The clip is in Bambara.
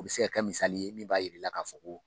U bɛ se ka kɛ misali ye min b'a jira i la k'a fɔ